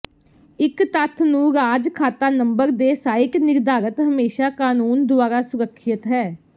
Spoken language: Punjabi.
ਇੱਕ ਤੱਥ ਨੂੰ ਰਾਜ ਖਾਤਾ ਨੰਬਰ ਦੇ ਸਾਈਟ ਨਿਰਧਾਰਤ ਹਮੇਸ਼ਾ ਕਾਨੂੰਨ ਦੁਆਰਾ ਸੁਰੱਖਿਅਤ ਹੈ